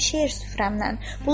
Şeir süfrəmdən.